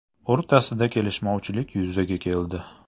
o‘rtasida kelishmovchilik yuzaga keldi.